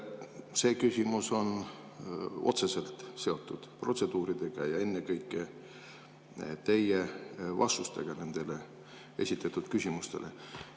See küsimus on otseselt seotud protseduuridega ja ennekõike teie vastustega esitatud küsimustele.